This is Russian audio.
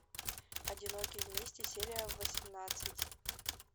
одинокие вместе серия восемнадцать